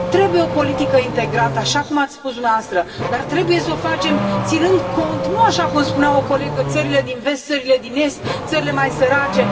Trebuie o politică integrată, așa cum ați spus dumneavoastră, dar trebuie s o facem ținând cont, nu așa cum spunea o colegă țările din Vest, țările din Est, țările mai sărace.